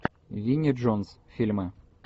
винни джонс фильмы